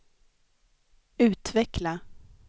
utveckla